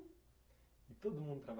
E todo mundo traba